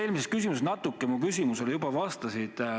Eelmise vastusega sa natuke mu küsimusele juba vastasid.